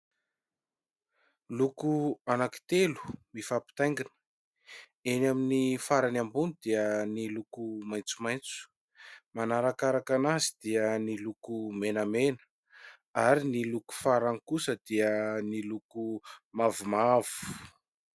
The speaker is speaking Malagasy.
Loko anankitelo mifampitaingina : eny amin'ny farany ambony dia ny loko maitsomaitso, manarakaraka azy dia ny loko menamena ary ny loko farany kosa dia ny loko mavomavo.